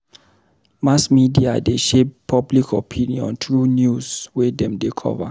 Mass media dey shape public opinion through news wey dem dey cover.